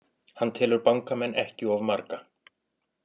Hann telur bankamenn ekki of marga